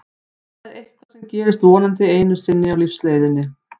Það er eitthvað sem gerist vonandi einu sinni á lífsleiðinni.